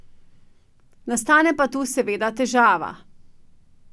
Nastane pa tu seveda težava.